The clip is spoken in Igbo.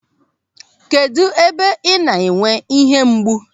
Kedụ ebe ị na-enwe ihe mgbu?